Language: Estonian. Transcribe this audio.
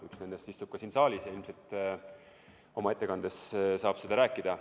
Üks nendest istub ka siin saalis ja ilmselt oma ettekandes saab sellest rääkida.